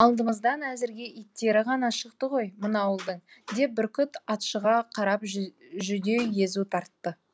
алдымыздан әзірге иттері ғана шықты ғой мына ауылдың деп бүркіт атшыға қарап жүдеу езу тартты